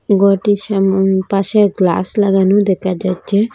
ঘরটির সামোন পাশে গ্লাস লাগানো দেখা যাচ্ছে।